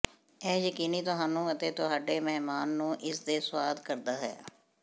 ਇਹ ਯਕੀਨੀ ਤੁਹਾਨੂੰ ਅਤੇ ਤੁਹਾਡੇ ਮਹਿਮਾਨ ਨੂੰ ਇਸ ਦੇ ਸੁਆਦ ਕਰਦਾ ਹੈ